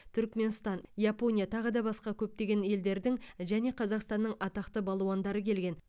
түрікменстан япония тағы да басқа көптеген елдердің және қазақстанның атақты балуандары келген